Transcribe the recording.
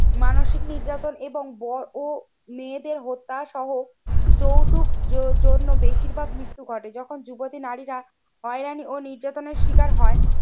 মানসিক নির্যাতন এবং বড়ো মেয়েদের হত্যাসহ যৌতুক জজন্য বেশিরভাগ মৃত্যু ঘটে। যখন যুবতী নারীরা হয়রানি ও নির্যাতনের শিকার হয়।